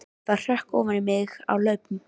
Það hrökk ofan í mig á hlaupunum.